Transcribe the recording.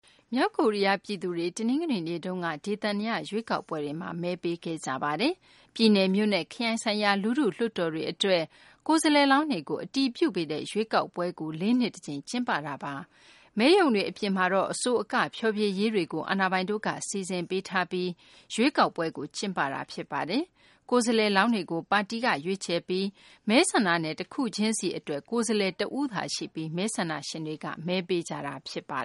မြောက်ကိုရီးယား ပြည်သူတွေ တနင်္ဂနွေနေ့က ဒေသန္တရ ရွေးကောက်ပွဲတွေမှာ မဲပေးခဲ့ကြပါတယ်။ ပြည်နယ်၊ မြို့နဲ့ ခရိုင် ဆိုင်ရာ လူထု လွှတ်တော်တွေ အတွက် ကိုယ်စားလှယ်လောင်းတွေကို အတည်ပြုပေးတဲ့ ရွေးကောက်ပွဲတွေကို လေးနှစ် တကြိမ် ကျင်းပတာပါ။ မဲရုံတွေ အပြင်မှာ အဆို အက ဖျော်ဖြေရေးတွေကို အာဏာပိုင်တွေက စီစဉ်ပေးထားပြီး ရွေးကောက်ပွဲတွေကို ကျင်းပကြတာပါ။ ကိုယ်စားလှယ်လောင်းတွေကို ပါတီက ရွေးချယ်ပြီး မဲဆန္ဒနယ် တခုချင်းစီ အတွက် ကိုယ်စားလှယ် တဦးသာရှိပြီး မဲဆန္ဒရှင်တွေက မဲပေးကြတာပါ